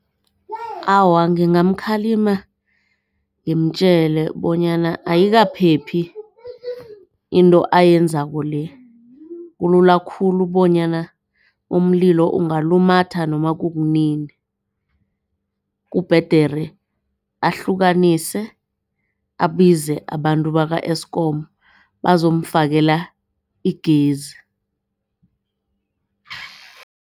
Awa, ngingamkhalima ngimtjele bonyana ayikaphephi into ayenzako le kulula khulu bonyana umlilo ungalumatha noma kunini. Kubhedere ahlukanise abize abantu baka-Eskom bazomfakele igezi.